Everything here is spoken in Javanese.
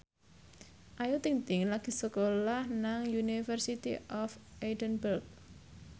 Ayu Ting ting lagi sekolah nang University of Edinburgh